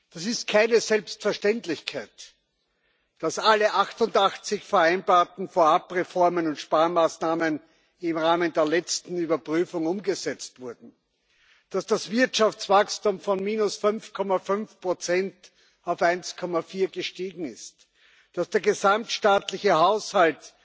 Das ist keine Selbstverständlichkeit. Dass alle 88 vereinbarten Vorab Reformen und Sparmaßnahmen im Rahmen der letzten Überprüfung umgesetzt wurden, dass das Wirtschaftswachstum von minus 5,5 auf 1,4 gestiegen ist, dass der gesamtstaatliche Haushalt